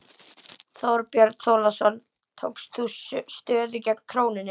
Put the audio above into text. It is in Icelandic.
Þorbjörn Þórðarson: Tókst þú stöðu gegn krónunni?